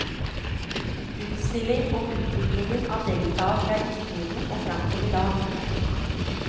Utstilling om utviklingen av deltaet fra istiden og fram til i dag.